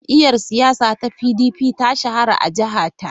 Jam’iyyar siyasa ta PDP ta shahara a jiha ta.